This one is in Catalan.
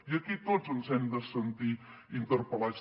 i aquí tots ens hem de sentir interpel·lats